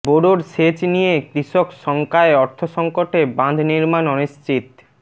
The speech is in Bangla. বোরোর সেচ নিয়ে কৃষক শঙ্কায় অর্থসংকটে বাঁধ নির্মাণ অনিশ্চিত